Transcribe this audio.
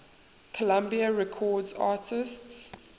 columbia records artists